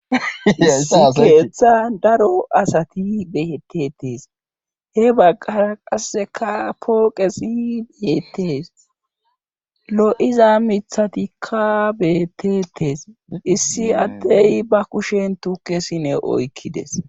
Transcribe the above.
keeththa daro asati beyetetees he baggara qasseka pooqesi beyetees lo7iza mithatikka beetetees issi adtey ba kushen tukesine oykkides